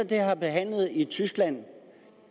været behandlet i tyskland